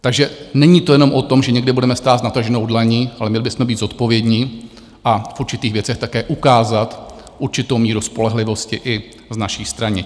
Takže není to jenom o tom, že někde budeme stát s nataženou dlaní, ale měli bychom být zodpovědní a v určitých věcech také ukázat určitou míru spolehlivosti i z naší strany.